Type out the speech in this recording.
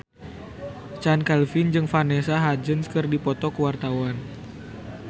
Chand Kelvin jeung Vanessa Hudgens keur dipoto ku wartawan